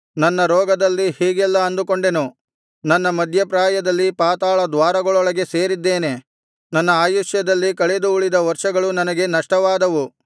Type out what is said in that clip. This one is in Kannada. ನನ್ನ ರೋಗದಲ್ಲಿ ಹೀಗೆಲ್ಲಾ ಅಂದುಕೊಂಡೆನು ನನ್ನ ಮಧ್ಯಪ್ರಾಯದಲ್ಲಿ ಪಾತಾಳ ದ್ವಾರಗಳೊಳಗೆ ಸೇರಿದ್ದೇನೆ ನನ್ನ ಆಯುಷ್ಯದಲ್ಲಿ ಕಳೆದು ಉಳಿದ ವರ್ಷಗಳು ನನಗೆ ನಷ್ಟವಾದವು